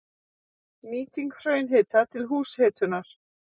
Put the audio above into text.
Nýting hraunhita til húshitunar